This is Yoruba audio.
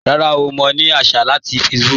Rárá, mọ̀ ní àṣà láti Facebook.